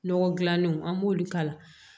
Nɔgɔ dilannenw an b'olu k'a la